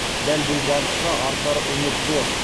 дәл бұл бағытқа артар үміт зор